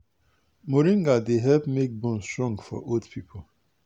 moringa dey help make bone strong for old people.